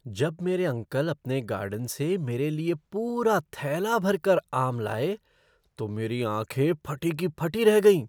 जब मेरे अंकल अपने गार्डन से मेरे लिए पूरा थैला भरकर आम लाए तो मेरी आँखें फटी की फटी रह गईं।